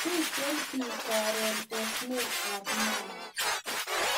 Miten pik karon osnet ab Mau